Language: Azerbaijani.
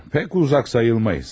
Çox uzaq sayılmarıq.